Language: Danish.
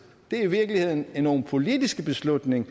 det er i virkeligheden nogle politiske beslutninger